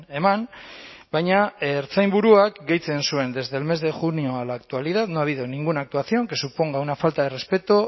eman baina ertzainburuak gehitzen zuen desde el mes de junio a la actualidad no ha habido ninguna actuación que suponga una falta de respeto